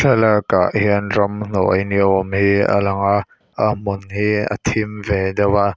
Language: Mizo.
thlalâkah hian ramhnuai ni âwm hi a lang a a hmun hi a thim ve deuh a.